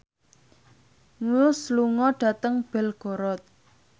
Muse lunga dhateng Belgorod